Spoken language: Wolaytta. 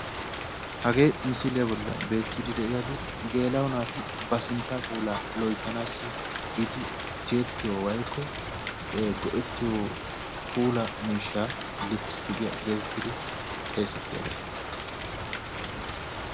hagee misiliya bollan beettiiddi diyagee macca naati ba sinttaa puulaa loyittanaassi giidi tiyettiyo woyikko go'ettiyo puula miishsha lipistikiya geetettidi xeesettiyagaa.